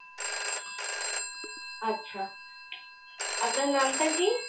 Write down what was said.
আচ্ছা, আপনার নামটা কি?